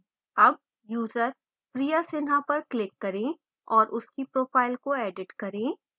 अब user priya sinha पर click करें और उसकी profile को edit करें